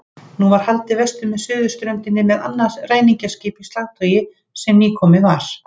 Nú var haldið vestur með suðurströndinni með annað ræningjaskip í slagtogi sem nýkomið var.